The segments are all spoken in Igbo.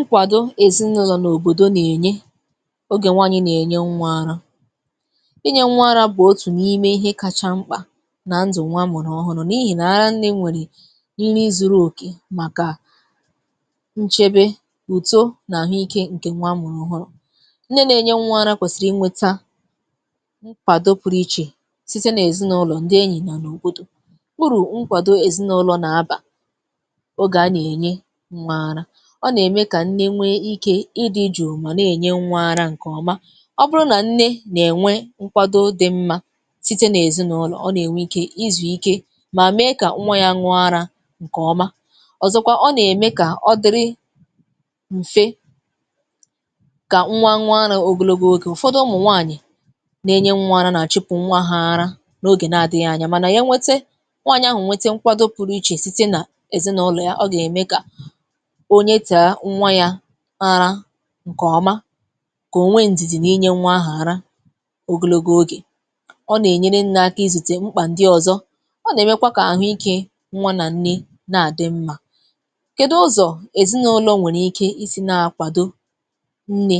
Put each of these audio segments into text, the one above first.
Nkwàdo èzinụlọ̀ n’òbòdo nà-ènye ogè nwayị nà-ènye nwa ara. Inye nwa ara bụ̀ otù n’ime ihe kacha mkpà nà ndụ̀ nwa amụ̀rụ̀ ọhụrụ̇ n’ihì nà-ara nne nwèrè nri zu̇rù òkè màkà, nchebe, uto nà àhụ ike ǹkè nwa a mụ̀rụ̀ ọhụrụ̇. Nne nà-ènye nwa ara kwèsị̀rị̀ inwėta nkwàdo pụrụ ichė sịte n’ezinụlọ̀, ǹdị enyì nà n’òbòdo. Uru nkwado Ezinụlọ n’aba oge ana enye nwa ara. Ọ n’eme ka nne nwe ike ịdị jụụ ma n’enye nwa ara nke ọma. Ọbụrụ nà nne nà-ènwe nkwado dị̇ mmȧ site n’èzinụlọ̀, ọ nà-ènwe ikė izù ike mà mee kà nwa yȧ ṅụọ ara ǹkè ọma. Ọ̀zọ̀kwa ọ nà-ème kà ọ dịrị m̀fe kà nwa ṅụọ ara ogologo ogè. Ụ̀fọdụ ụmụ̀ nwaanyị̀ na-enye nwa ara nà-àchịpụ̀ nwa ha ara n’ogè nà-adịghị anya mànà e nwete nwaanyị̀ ahụ̀ nwete nkwado pụrụ ichè site nà èzinụlọ̀ ya ọ gà-ème kà onyetàà nwa ya ara ǹkè ọma kà o nweè ndìdì n’inye nwa ahụ̀ ara ogologo ogè. Ọ nà-ènyere nne aka izùtè mkpà ǹdị ọzọ. Ọ nà-emekwa kà àhụ ikė nwa nà nne na-àdị mmȧ. Kedu ụzọ̀ èzinụlọ̇ nwèrè ike isi̇ na-akwàdo nne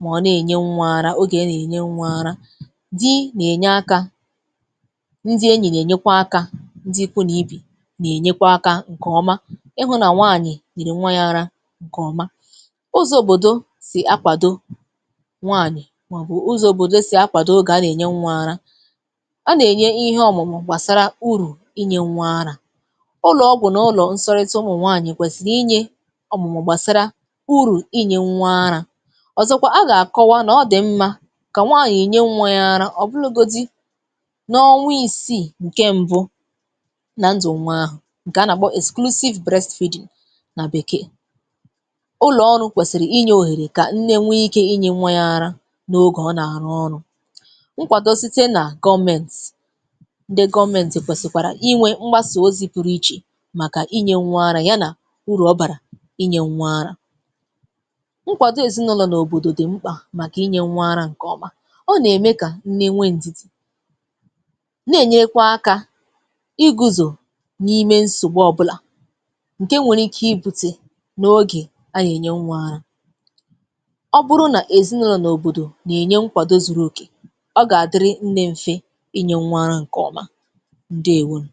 mà ọ nà-ènye nwa arȧ ogè nà-ènye nwa arȧ. Di nà-ènye aka, ndi enyì nà-ènyekwa akȧ. Ndi ikwu̇ nà ibè nà-ènyekwa akȧ ǹkè ọma ịhụ na nwanyị nyere nwa ya ara nkeọma. Ụzọ̇ òbòdò sì akwàdo nwaanyị̀ màọ̀bụ̀ ụzọ̇ òbòdò sì akwàdo oge a na ènye nwa ara. Ana-enye ihe ọ̀mụ̀mụ̀ gbàsara urù inye nwa ara. Ụlọ̀ ọgwụ̀ n’ụlọ̀ nsọrịtà ụmụ̀ nwaanyị̀ kwèsìrị inye ọ̀mụ̀mụ̀ gbàsara ụrụ̀ inye nwa ara. Ọzọ̀kwa, a gà-àkọwa nà ọ dị̀ mmȧ kà nwaanyị̀ nye nwa ya ara ọ̀ bụlụgodi nà ọṅwa isiì ǹkè m̀bụ nà ndụ̀ nwa àhụ ǹkè a nà-akpọ̀ exclusive breastfeeding nà bèkee. Ụlọ̀ ọrụ̇ kwèsìrì inye òhèrè kà nne nwe ike inye nwa ya ara n’ogè ọ nà-àrụ ọrụ̇. Nkwàdo site nà gọọmentì. Ndị gọọmentì kwèsìkwàrà inwè mgbasà ozi pụrụ ichè màkà inye nwa ara yà nà uru ọ bàrà inye nwa ara. Nkwàdo ezìnụlọ̀ n’òbòdò dì mkpà màkà inye nwa arȧ ǹkeọma. Ọ nà-ème kà nne nwe ǹdìdì, na-enyekwa aka iguzò n’ime ǹsògbù ọbụlà ǹke nwèrè ike iputè n’ogè a na enye nwa ara. Ọ bụrụ nà èzinụlọ̇ nà òbòdò nà-ènye nkwàdo zùrù òkè, ọ gà-àdịrị nne m̀fe ịnyė nwȧ ara ǹkẹ̀ ọma. Ndeèwonù.